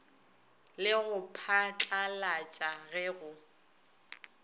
le go phatlalatša ge go